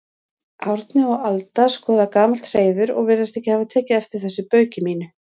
Árni og Alda skoða gamalt hreiður og virðast ekki hafa tekið eftir þessu bauki mínu.